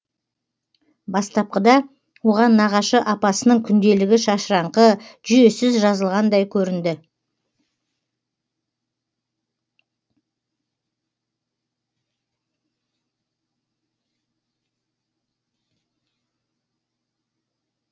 бастапқыда оған нағашы апасының күнделігі шашыраңқы жүйесіз жазылғандай көрінді